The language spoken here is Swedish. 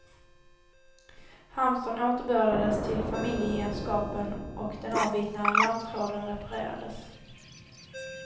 Hamstern återbördades till familjegemenskapen och den avbitna alarmtråden reparerades.